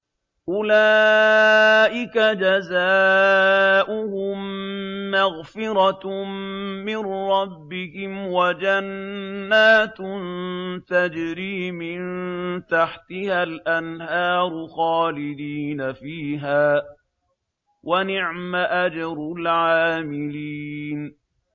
أُولَٰئِكَ جَزَاؤُهُم مَّغْفِرَةٌ مِّن رَّبِّهِمْ وَجَنَّاتٌ تَجْرِي مِن تَحْتِهَا الْأَنْهَارُ خَالِدِينَ فِيهَا ۚ وَنِعْمَ أَجْرُ الْعَامِلِينَ